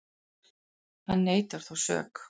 Hann neitar þó sök